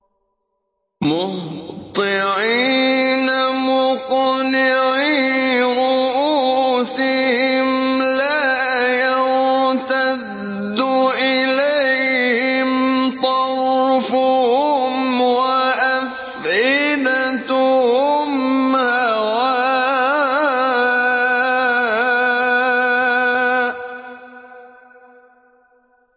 مُهْطِعِينَ مُقْنِعِي رُءُوسِهِمْ لَا يَرْتَدُّ إِلَيْهِمْ طَرْفُهُمْ ۖ وَأَفْئِدَتُهُمْ هَوَاءٌ